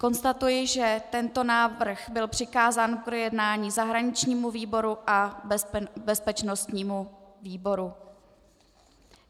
Konstatuji, že tento návrh byl přikázán k projednání zahraničnímu výboru a bezpečnostnímu výboru.